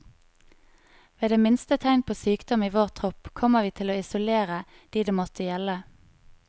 Ved det minste tegn på sykdom i vår tropp, kommer vi til å isolere de det måtte gjelde.